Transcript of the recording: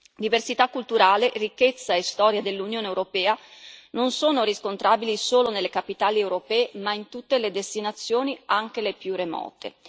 Diversità culturale, ricchezza e storia dell'Unione europea non sono riscontrabili solo nelle capitali europee, ma in tutte le destinazioni, anche le più remote.